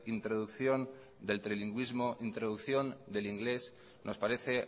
introducción del trinlingüismo introducción del inglés nos parece